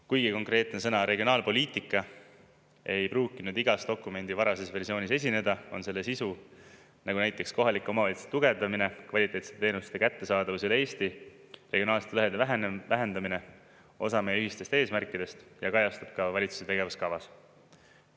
Kuigi konkreetne sõna "regionaalpoliitika" ei pruukinud igas dokumendi varases versioonis esineda, on selle sisu, nagu näiteks kohalike omavalitsuste tugevdamine, kvaliteetsete teenuste kättesaadavus üle Eesti, regionaalsete lõhede vähenenud vähendamine, osa meie ühistest eesmärkidest ja kajastub ka valitsuse tegevuskavas.